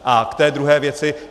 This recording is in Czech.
A k té druhé věci.